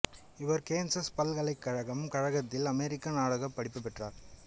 இவர் கேன்சஸ் பல்கலைக்கழகம் கழகத்தில் அமெரிக்கன் நாடகப் படிப்பு பெற்றார்